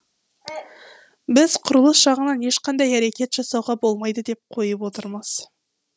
біз құрылыс жағынан ешқандай әрекет жасауға болмайды деп қойып отырмыз